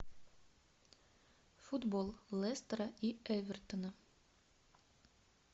футбол лестера и эвертона